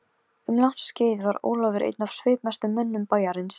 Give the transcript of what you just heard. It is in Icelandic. Sjaldan á ævinni hef ég orðið fegnari óvæntri aðstoð.